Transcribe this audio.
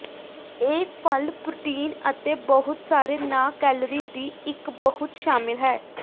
ਇਹ ਫਲ ਪ੍ਰੋਟੀਨ ਅਤੇ ਬਹੁਤ ਸਾਰੇ ਨਾ ਕੈਲੋਰੀ ਦੀ ਇੱਕ ਬਹੁਤ ਸ਼ਾਮਿਲ ਹੈ